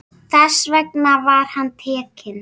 Þess vegna var hann tekinn.